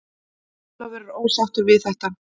Ólafur er ósáttur við þetta.